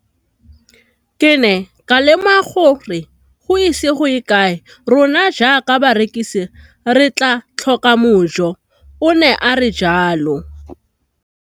Ke ne ka lemoga gore go ise go ye kae rona jaaka barekise re tla tlhoka mojo, o ne a re jalo.